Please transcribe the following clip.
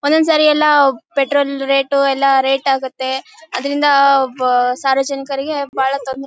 ಒಂದ್ ಒಂದ್ ಸಾರಿ ಎಲ್ಲಾ ಪೆಟ್ರೋಲ್ ರೇಟು ಎಲ್ಲಾ ರೇಟ್ ಆಗತ್ತೆ ಅದ್ರಿಂದ ಸಾರ್ವಜನಿಕರಿಗೆ ಬಹಳ ತೊಂದ್ರೆ--